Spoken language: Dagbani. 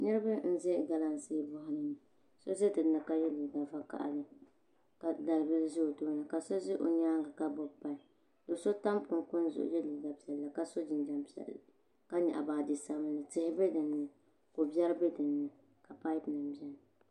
Niraba n bɛ galamsee boɣali ni so ʒɛ dinni ka yɛ liiga vakaɣali ka dalibili ʒɛ o tooni ka so ʒɛ o nyaangi ka gbubi bini do so tam kunkun zuɣu n yɛ liiga piɛlli ka so jinjɛm piɛlli ka nyaɣa baaji sabinli tihi bɛ dinni ko biɛri bɛ dinni ka paipu nim biɛni